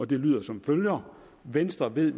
der lyder som følger venstre ved